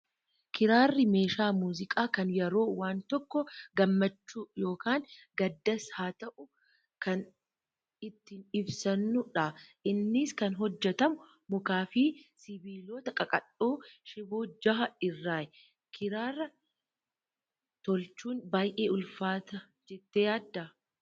Kiraarri meeshaa muuziqaa kan yeroo waan tokko gammachuu yookaan gaddas haa ta'uu kan ittiin ibsannudha. Innis kan hojjatamu mukaa fi sibiilota qaqalloo shiboo jaha irraayi. Kiraara tolchuun baay'ee ulfaata jettee yaaddaa?